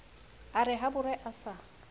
a re habore a sa